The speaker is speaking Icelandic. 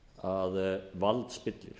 að vald spillir